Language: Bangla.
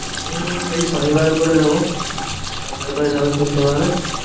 হম এই শনিবারে করে দেব। শনিবার করে সবাই শুনতে পাবে।